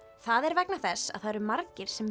það er vegna þess að það eru margir